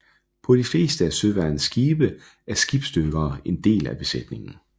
På de fleste af søværnets skibe er skibsdykkere en del af besætningen